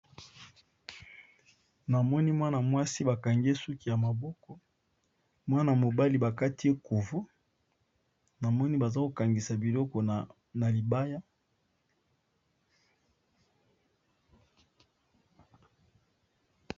Na moni mwana mwasi ba kangi ye suki ya maboko mwana mobali ba kati ye kovo, namoni baza ko kangisa biloko na libaya.